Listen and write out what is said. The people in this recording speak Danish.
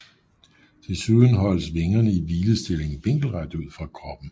Desuden holdes vingerne i hvilestilling vinkelret ud fra kroppen